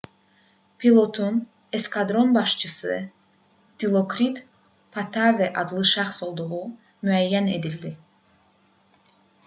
pilotun eskadron başçısı dilokrit pattavee adlı şəxs olduğu müəyyən edildi